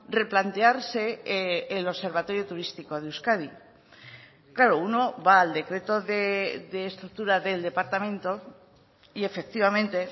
replantearse el observatorio turístico de euskadi claro uno va al decreto de estructura del departamento y efectivamente